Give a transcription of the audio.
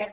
per